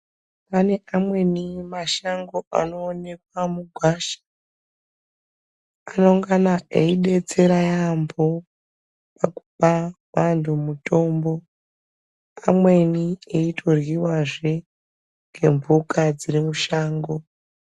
Pane kamweni mashango anoonekwa mugwasha. Anongana eibetsera yaambo, pakupa antu mutombo amweni eitoryivazve ngemhuka dziri mushango.